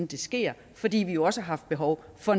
det sker fordi vi jo også har haft behov for